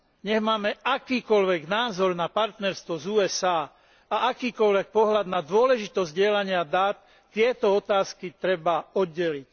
Nech máme akýkoľvek názor na partnerstvo s USA a akýkoľvek pohľad na dôležitosť zdieľania dát, tieto otázky treba oddeliť.